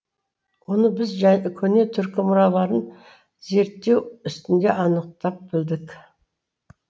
оны біз көне түркі мұраларын зерттеу үстінде анықтап білдік